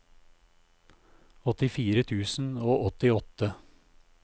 åttifire tusen og åttiåtte